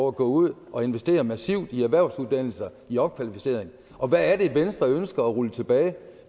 at gå ud og investere massivt i erhvervsuddannelser i opkvalificering og hvad er det venstre ønsker at rulle tilbage